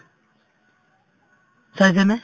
চাইছানে